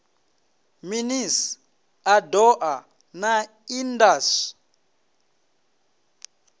minis a doa na indas